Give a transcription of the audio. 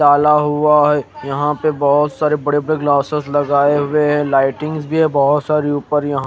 डाला हुआ है यहा पे बहोत सारे बड़े बड़े ग्लासेस लगाये हुए है लाइटिंग भी बहोत सारी उपर यहा--